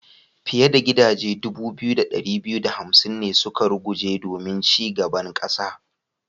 Fiyar da gidaje dubu biyu da dari biyu da hamsin ne suka ruguje domin ci gaban kasa.